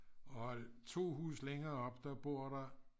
og 2 huse længere oppe der bor der